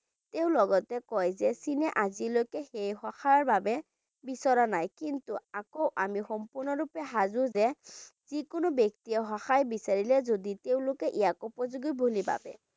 তেওঁ লগতে কয় যে চীনে আজিলৈকে সেই সহায়ৰ বাবে বিচৰা নাই কিন্তু আকৌ আমি সম্পূৰ্ণৰূপে সাজু যে যিকোনো ব্যক্তিয়ে সহায় বিচাৰিলে যদি তেওঁলোকে ইয়াক উপযোগী বুলি ভাবে।